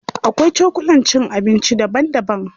Akwai cokulan cin abinci daban daban.